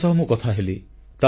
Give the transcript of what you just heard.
ସେମାନଙ୍କ ସହ ମୁଁ କଥାହେଲି